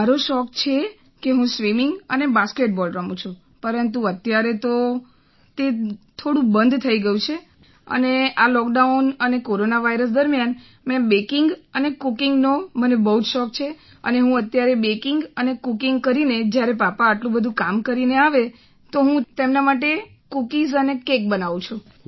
મારો શોખ છે કે હું સ્વિમિંગ અને બાસ્કેટ બોલ રમું છું પરંતુ અત્યારે તો તે થોડું બંધ થઈ ગયું છે અને આ લૉકડાઉન અને કોરોના વાઇરસ દરમિયાન મેં બૅકિંગ અને કૂકિંગનો મને ખૂબ જ શોખ છે અને હું અત્યારે બૅકિંગ અને કૂકિંગ કરીને જ્યારે પાપા આટલું બધું કામ કરીને આવે છે તો હું તેમના માટે કૂકિઝ અને કેક બનાવું છું